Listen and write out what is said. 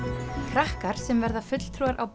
krakkar sem verða fulltrúar á